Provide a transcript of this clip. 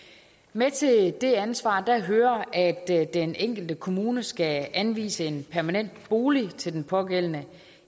med til det ansvar hører at den enkelte kommune skal anvise en permanent bolig til den pågældende